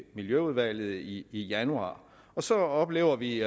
miljøudvalget i januar så oplever vi